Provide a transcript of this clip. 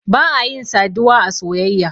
ba a yin saduwa a soyayya.